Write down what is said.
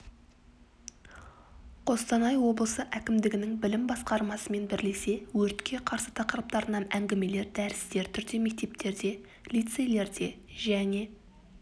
қостанай облысы әкімдігінің білім басқармасымен бірлесе өртке қарсы тақырыптарына әңгімелер дәрістер түрде мектептерде лицейлерде және